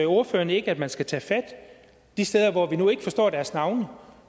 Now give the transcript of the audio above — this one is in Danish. ordføreren ikke at man skal tage fat de steder hvor vi nu ikke forstår deres navne